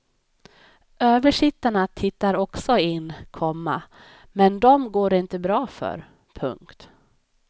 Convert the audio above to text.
Översittarna tittar också in, komma men dem går det inte bra för. punkt